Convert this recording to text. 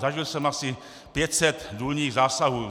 Zažil jsem asi 500 důlních zásahů.